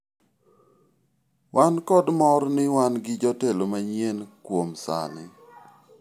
wan kod mor ni wan gi jatelo manyien kuom sani